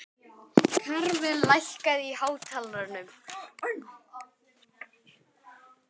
Karvel, lækkaðu í hátalaranum.